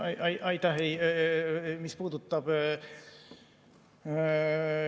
Aitäh!